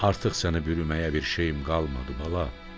Artıq səni bürüməyə bir şeyim qalmadı bala.